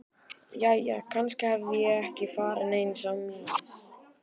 Jæja, kannski hafði ég ekki farið neins á mis.